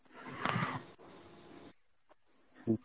হম